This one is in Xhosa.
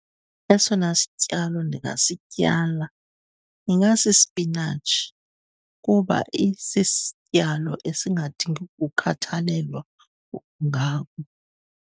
Esona sityalo ndingasityala ingasisipinatshi kuba isisityalo esingadingi ukukhathalelwa .